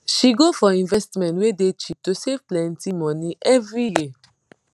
she go for investment wey dey cheap to save plenti money every year